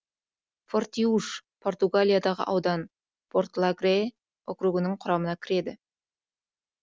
фортиуш португалиядағы аудан порталегре округінің құрамына кіреді